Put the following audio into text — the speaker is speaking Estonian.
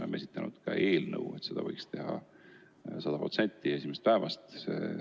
Me oleme esitanud ka eelnõu, et seda võiks teha 100% ulatuses esimesest päevast alates.